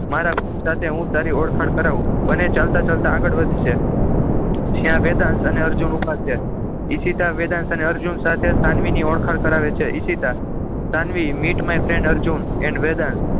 મારા friend સાથે હું તારી ઓળખાણ કરાવું બંને ચાલતા ચાલતા આગળ વધી છે જ્યાં વેદાંશ અને અર્જુન ઊભા છે ઈશિતા વેદાંશ અને અર્જુન સાથે સાનવીની ઓળખાણ કરાવે છે Ishita Sanvi meet my friend Arjun and Vedansh